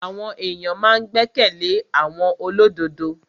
Àwọn èyàn ma n gbẹ́kẹ̀lé àwọn olódodo.